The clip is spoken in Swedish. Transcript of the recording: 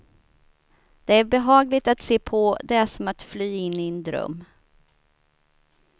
Det är behagligt att se på, det är som att fly in i en dröm.